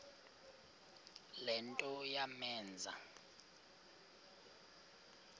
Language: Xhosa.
le nto yamenza